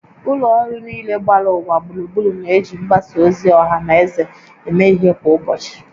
Ụlọ ọrụ niile gbara ụwa gburugburu na-eji mgbasa ozi ọha na eze eme ihe kwa ụbọchị